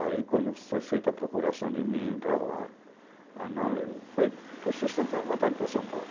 Aí, quando foi feita a procuração de mim para lá... Aí, não, ele foi por sustentar a vontade para São Paulo.